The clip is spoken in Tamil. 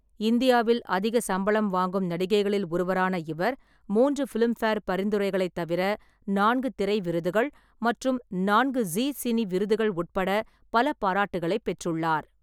இந்தியாவில் அதிக சம்பளம் வாங்கும் நடிகைகளில் ஒருவரான இவர், மூன்று பிலிம்பேர் பரிந்துரைகளைத் தவிர, நான்கு திரை விருதுகள் மற்றும் நான்கு ஜீ சினி விருதுகள் உட்பட பல பாராட்டுகளைப் பெற்றுள்ளார்.